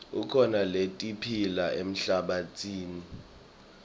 kukhona letiphila emhlabatsini